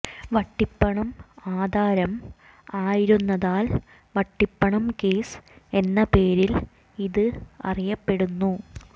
വട്ടിപ്പണം ആധാരം ആയിരുന്നതാൽ വട്ടിപ്പണം കേസ് എന്ന പേരിൽ ഇത് അറിയപ്പെടുന്നു